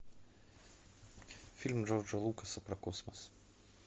фильм джорджа лукаса про космос